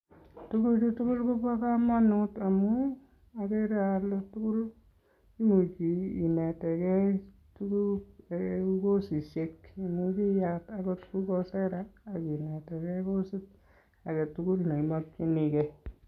Tuguchu tugul kobo kamanut amu agere ale, agere ale tugul imuch inetegei tugul kosishek che much iyat akot kou coursehera akinetege kosit age tugul ne imakchini gei.